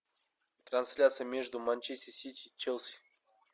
трансляция между манчестер сити и челси